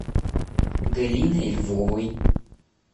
галиной львовой